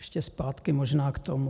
Ještě zpátky možná k tomu.